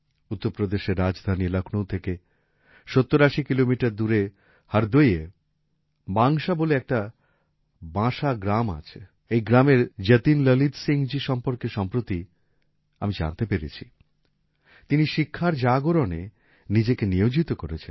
উত্তরপ্রদেশের রাজধানী লখনৌ থেকে ৭০৮০ কিলোমিটার দূরে হরদইয়ে বাংশা বলে একটা বাঁসা গ্রাম আছে এই গ্রামের যতীন ললিত সিংজি সম্পর্কে সম্প্রতি আমি জানতে পেরেছি তিনি শিক্ষার জাগরণে নিজেকে নিয়োজিত করেছেন